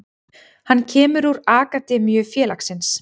Hann kemur úr akademíu félagsins.